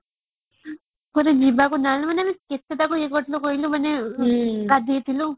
କୁଆଡେ ଯିବାକୁ ହେଲାନି ଗାଧେଇଥିଲୁ